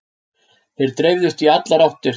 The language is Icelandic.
Þeir dreifðust í allar áttir.